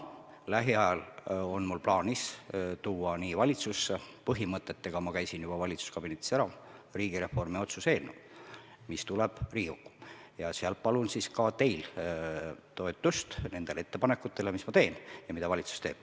Lähiajal on mul plaanis tuua valitsusse – põhimõtetega käisin ma juba valitsuskabinetis ära – riigireformi otsuse eelnõu, mis tuleb Riigikokku ja sellega palun ka teilt toetust nendele ettepanekutele, mis ma teen ja mida valitsus teeb.